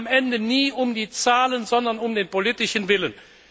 Es ging am Ende nie um die Zahlen, sondern um den politischen Willen.